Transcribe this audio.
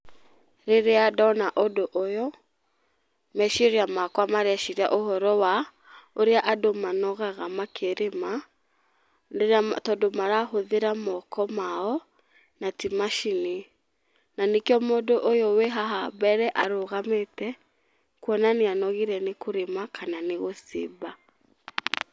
Rĩrĩa ndona ũndũ ũyũ, meciria makwa mareciria ũhoro wa ũrĩa andũ manogaga makĩrĩma, rĩrĩa tondũ marahũthĩra moko mao na ti macini. Na nĩkĩo mũndũ ũyũ wĩ haha mbere arũgamĩte, kuona nĩanogire nĩ kũrĩma kana nĩ gũcimba.